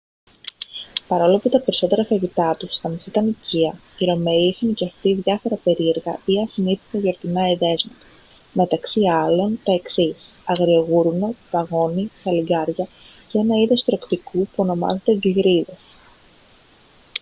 παρόλο που τα περισσότερα φαγητά τους θα μας ήταν οικεία οι ρωμαίοι είχαν και αυτοί διάφορα περίεργα ή ασυνήθιστα γιορτινά εδέσματα μεταξύ άλλων τα εξής αγριογούρουνο παγώνι σαλιγκάρια και ένα είδος τρωκτικού που ονομάζεται γκλιρίδες